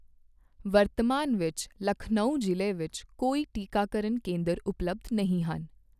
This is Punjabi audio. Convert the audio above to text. ਵਰਤਮਾਨ ਵਿੱਚ ਲਖਨਊ ਜ਼ਿਲ੍ਹੇ ਵਿੱਚ ਕੋਈ ਟੀਕਾਕਰਨ ਕੇਂਦਰ ਉਪਲਬਧ ਨਹੀਂ ਹਨ।